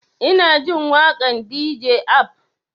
Ina jin waƙan dj ab